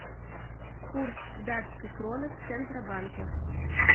курс датской кроны в центробанке